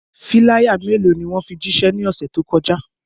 Filaya melo ni wọn fi jiṣẹ ni ọse to kọja?